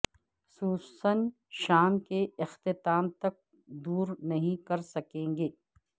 سوسن شام کے اختتام تک دور نہیں کر سکیں گے